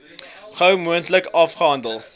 gou moontlik afgehandel